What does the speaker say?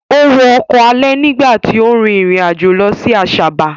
Ó wọ ọkọ̀ alẹ̀ nígbà tí ó rin ìrìn àjò lọ sí Asaba.